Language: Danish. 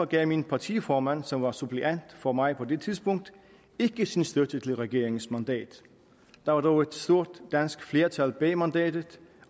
gav min partiformand som var suppleant for mig på det tidspunkt ikke sin støtte til regeringens mandat der var dog et stort dansk flertal bag mandatet